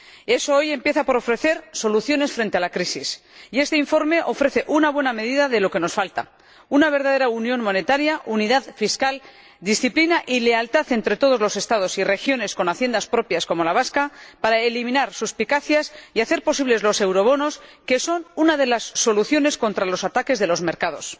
Eso hoy empieza por ofrecer soluciones frente a la crisis y este informe ofrece una buena medida de lo que nos falta una verdadera unión monetaria, unidad fiscal, disciplina y lealtad entre todos los Estados y regiones con Haciendas propias como la vasca para eliminar suspicacias y hacer posible los eurobonos, que son una de las soluciones contra los ataques de los mercados.